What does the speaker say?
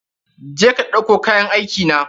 Je ka ɗauko kayan aikina!